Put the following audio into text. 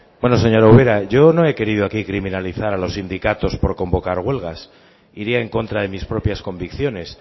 bueno señora ubera yo no he querido aquí criminalizar a los sindicatos por convocar huelgas iría en contra de mis propias convicciones